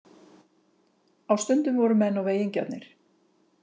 Á stundum voru menn of eigingjarnir